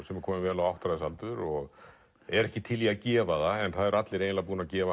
sem er komin vel á áttræðisaldur og er ekki til í að gefa það en allir búnir að gefa